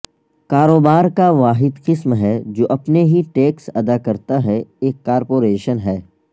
کاروبار کا واحد قسم ہے جو اپنے ہی ٹیکس ادا کرتا ہے ایک کارپوریشن ہے